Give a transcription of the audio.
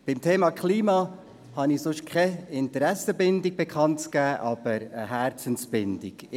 Beim Thema «Klima» habe ich keine Interessensbindung bekannt zu geben, aber eine Herzensbindung: